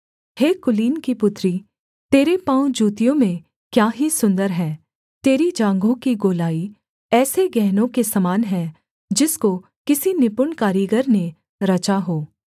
हे कुलीन की पुत्री तेरे पाँव जूतियों में क्या ही सुन्दर हैं तेरी जाँघों की गोलाई ऐसे गहनों के समान है जिसको किसी निपुण कारीगर ने रचा हो